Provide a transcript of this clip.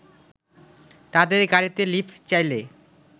তাদের গাড়িতে লিফ্ট চাইলে